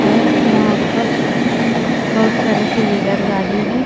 और वहां पर बहुत सारे टू व्हीलर गाड़ी है।